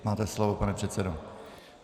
Máte slovo, pane předsedo.